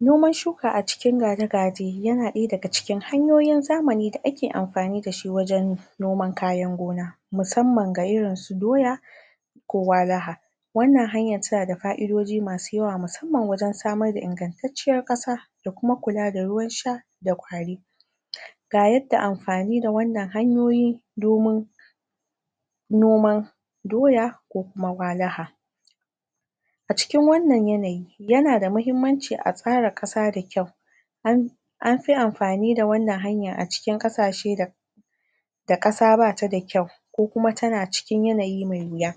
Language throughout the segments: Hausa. Noman shuka a cikin ganigaje yana ɗaya daga cikin hanyoyin zamani da ake amfani dashi wajen noman kayan gona. Musamman ga irin su doya, ko walaha. wannan hanyan tana da fa'idoji masu yawa musamman wajen samar da ingantacciyar ƙasa da kuma kula da ruwan sha da ƙwari. Ga yadda amfani da wannan hanyoyi domin noman doya ko kuma walaha. A cikin wannan yanayi yanada mahimmanci a tsara ƙasa da kyau anfi amfani da wannan hanyan a cikin ƙashashe da da ƙasa bata da kyau. ko kuma tana cikin yanayi mai wuya.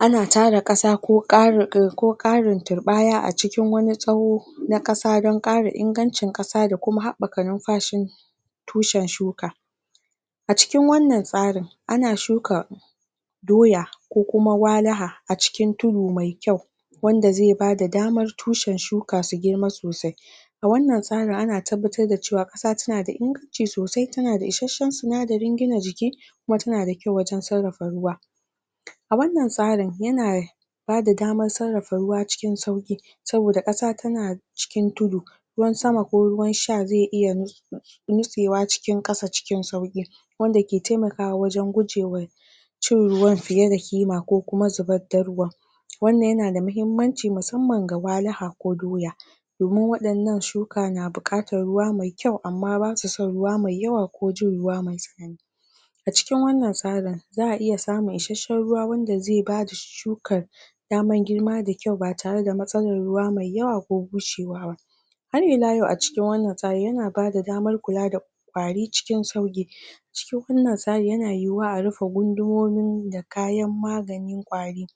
Ana tara ƙasa ko karin ko karin turɓaya a cikin wani tsawo na ƙasa don ƙara ingancin ƙasa da kuma haɓɓaka lumfashin tushen shuka. A cikin wannan tsarin ana shuka doya ko kuma walaha a cikin tudu mai kyau wanda zai bada damar tushen shuka su girma sosai A wannan tsarin ana tabbatar sa cewa ƙasa tanada inganci sosai tana da isasshen sinadarin gina jiki kuma tana da kyau wajen sarrafa ruwa. a wannan tsarin yana bada damar sarrafa ruwa cikin sauƙi saboda ƙasa tana cikin tudu ruwan sama ko ruwan sha zai iya nitsewa cikin ƙasa cikin sauƙi. wanda ke taimakawa wajen gujewa cin ruwan fiye da kima ko kuma zubar da ruwan wannan yana da mahimmanci musamman ga walaha ko doya. domin waɗannan shuka na buƙatar ruwa mai kyau amma basu son ruwa mai yawa ko jin ruwa mai a cikin wannan tsarin za'a iya samun isasshen ruwa wanda zai bada shukar daman girma da kyau ba tare da matsalar ruwa mai yawa ko bushewa ba Har ila yau a cikin wannan tsarin yana bada damar kula da ƙwari cikin sauƙi cikin wannan tsarin yana yiwuwa a rufe gundumomin da kayan maganin ƙwari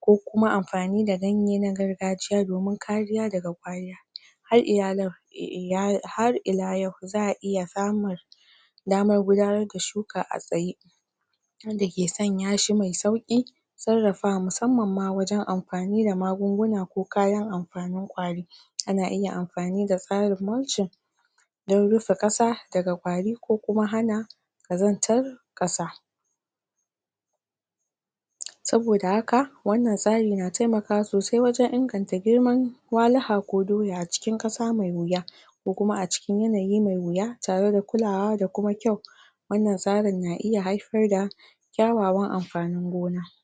ko kuma amfani da ganye na gargajiya domin kariya daga ƙwari. Har ila yau har ila yau za'a iya samun damar gudanar da shuka a tsaye. abunda ke sanya shi mai sauƙi, sarrafawa musamman ma wajen amfani da magunguna ko kayan amfanin ƙwari. Ana iya amfani da tsarin mulchin don rufe ƙasa daga ƙwari ko kuma hana ƙazantar ƙasa. saboda haka, wannan tsari na taimakawa sosai wajen inganta girman walaha ko doya cikin ƙasa mai wuya ko kuma a cikin yanayi mai wuya tareda kulawa da kuma kyau wannan tsarin na iya haifar da kyawawan amfanin gona.